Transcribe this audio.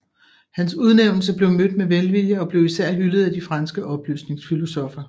Hans udnævnelse blev mødt med velvilje og blev især hyldet af de franske oplysningsfilosoffer